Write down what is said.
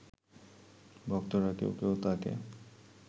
ভক্তরা কেউ কেউ তাঁকে